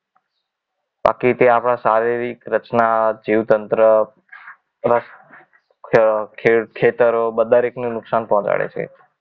બાકી તે આપણા શારીરિક રચના જીવ તંત્ર ખેત ખેત ખેતરો દરેકને નુકસાન પહોંચાડે છે